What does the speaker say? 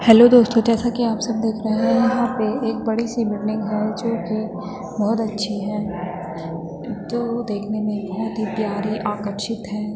Hello दोस्तों जैसा की आप सब देख रहें हैं यहाँ पे एक बड़ी सी बिल्डिंग है जो कि बहोत अच्छी है जो देखने में बहोत ही प्यारी आकर्षित है।